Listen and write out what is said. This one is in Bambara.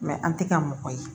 an tɛ kɛ mɔgɔ ye